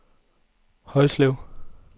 Højslev